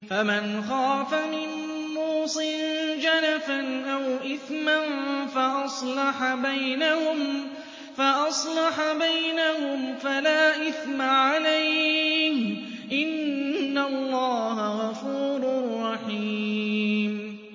فَمَنْ خَافَ مِن مُّوصٍ جَنَفًا أَوْ إِثْمًا فَأَصْلَحَ بَيْنَهُمْ فَلَا إِثْمَ عَلَيْهِ ۚ إِنَّ اللَّهَ غَفُورٌ رَّحِيمٌ